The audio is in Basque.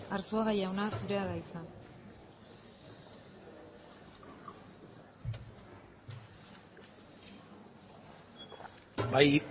arzuaga jauna zurea da hitza bai